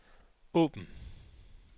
åbn